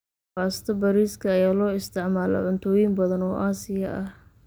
Baasto bariiska ayaa loo isticmaalaa cuntooyin badan oo Aasiya ah.